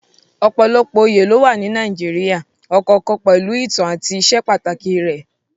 Ọ̀pọ̀lọpọ̀ oyè ló wà ní Nàìjíríà, ọ̀kọ̀ọ̀kan pẹ̀lú ìtàn àti ìsepàtàkì rẹ̀.